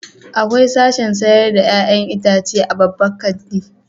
Akwai sashin sayar da 'ya'yan itace a babban kanti.